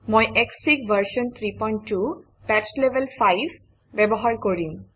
মই SFIG version 32 patch level 5 ব্যৱহাৰ কৰিম